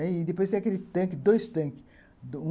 Aí depois tem aquele tanque, dois tanques.